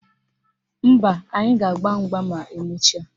Mba, anyị ga-agba mgba ma emecha